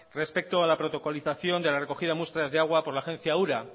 respecto a la protocolización de la recogida de muestras de agua por la agencia ura